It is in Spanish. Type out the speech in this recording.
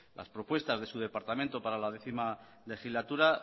las propuestas de su departamento para la décimo legislatura